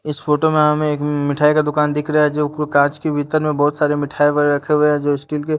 इस फोटो में हमें एक मिठाई का दुकान दिख रहा है जो ऊपर कांच के भीतर में बहुत सारे मिठाई भरे रखे हुए हैं जो स्टील के--